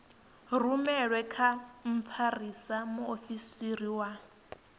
rumelwe kha mfarisa muofisiri wa